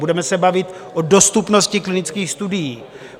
Budeme se bavit o dostupnosti klinických studií.